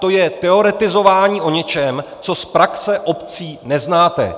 To je teoretizování o něčem, co z praxe obcí neznáte.